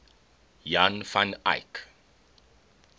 jan van eyck